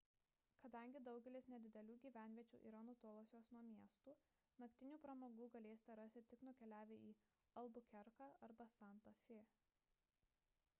kadangi daugelis nedidelių gyvenviečių yra nutolusios nuo miestų naktinių pramogų galėsite rasti tik nukeliavę į albukerką arba santa fė